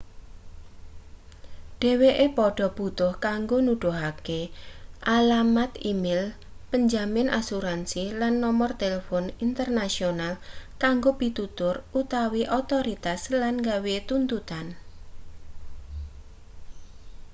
dheweke padha butuh kanggo nuduhake alamat e-mail penjamin asuransi lan nomer telpon internasional kanggo pitutur/otorisasi lan gawe tuntutan